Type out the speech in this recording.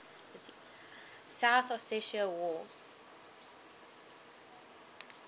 south ossetia war